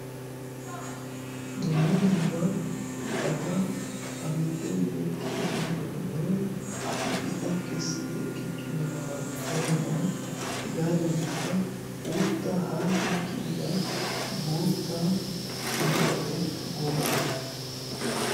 dumma dumma iqatta a giddo yeggi ehiitonne ha77i iqa kessi ekkichchido kartoniyaa hegaadankka uutta haashin kiyida bootta muqaqe gola